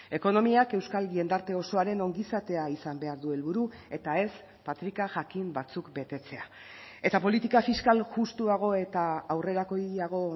ekonomiak euskal jendarte osoaren ongizatea izan behar du helburu eta ez patrika jakin batzuk betetzea eta politika fiskal justuago eta aurrerakoiago